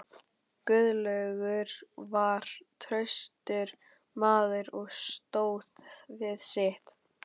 Guðlaugur var traustur maður og stóð við sitt.